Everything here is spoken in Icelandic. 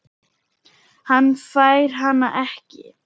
Hann fær hana ekki.